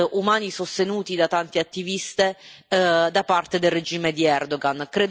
umani sostenuti da tante attiviste da parte del regime di Erdogan.